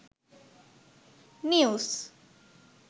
news